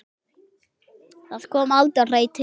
Það kom aldrei til.